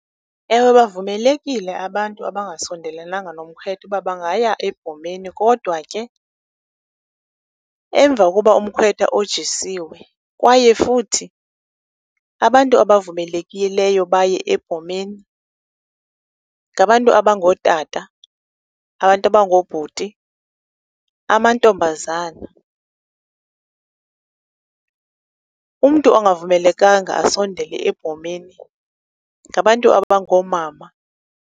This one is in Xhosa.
Ewe bavumelekile abantu abangasondelenanga nomkhwetha uba bangaya ebhomeni, kodwa ke emva koba umkhwetha ojisiwe. Kwaye futhi, abantu abavumelekileyo baye ebhomeni ngabantu abangootata, abangoobhuti, amantombazana. Umntu ongavumelekanga asondele ebhomeni ngabantu abangoomama.